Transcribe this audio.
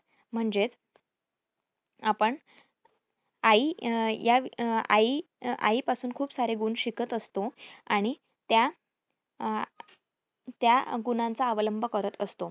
म्हणजेच आपण आई अं यां अं आई पासून खूप सारे गुण शिकत असतो आणि त्या अं त्या गुणांचा अवलंब करत असतो.